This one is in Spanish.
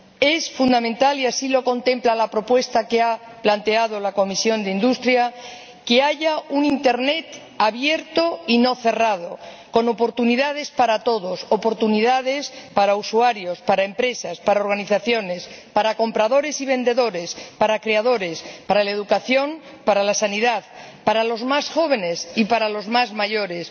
Es fundamental —y así lo contempla la propuesta que ha planteado la Comisión de Industria, Investigación y Energía— disponer de un Internet abierto y no cerrado, con oportunidades para todos oportunidades para usuarios, para empresas, para organizaciones, para compradores y vendedores, para creadores, para la educación, para la sanidad, para los más jóvenes y para los mayores.